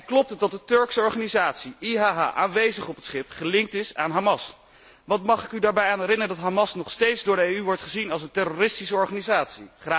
Klopt het dat de Turkse organisatie IHH, aanwezig op het schip, gelinkt is aan Hamas? Mag ik u eraan herinneren dat Hamas nog steeds door de EU wordt gezien als een terroristische organisatie?